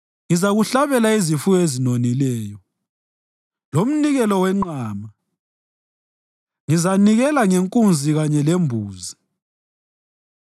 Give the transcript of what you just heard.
Ngizakuhlabela izifuyo ezinonileyo, lomnikelo wenqama; ngizanikela ngenkunzi kanye lembuzi.